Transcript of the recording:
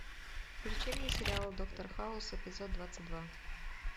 включи мне сериал доктор хаус эпизод двадцать два